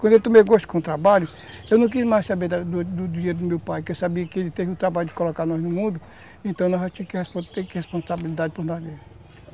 Quando eu tomei gosto com o trabalho, eu não queria mais saber do do do dinheiro do meu pai, porque eu sabia que ele teve o trabalho de colocar nós no mundo, então nós já tinha que ter responsabilidade para nós mesmos.